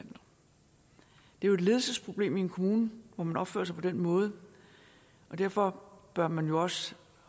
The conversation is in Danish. jo et ledelsesproblem i en kommune hvor man opfører sig på den måde og derfor bør man også